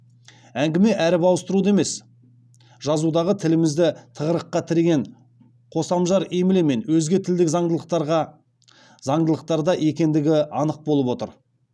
әңгіме әріп ауыстыруда емес жазудағы тілімізді тығырыққа тіреген қосамжар емле мен өзге тілдік заңдылықтарда екендігі анық болып отыр